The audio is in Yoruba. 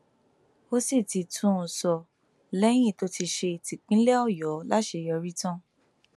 ó sì ti tún un sọ lẹyìn tó ti ṣe típínlẹ ọyọ láṣeyọrí tán